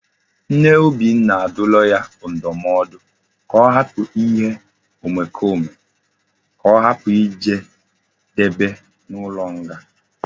Nne obinna aduola ndumodu ka o hapu ihe omekome ka ohapu ijedebe na ulo nga